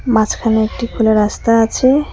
মাঝখানে একটি খোলা রাস্তা আছে।